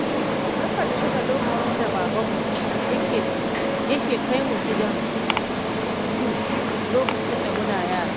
Nakan tuna lokacin da babanmu yake kai mu gidan zu lokacin da muna yara